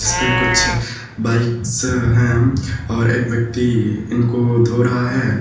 इस पे कुछ बाइक्स है और एक व्यक्ति इनको धो रहा है।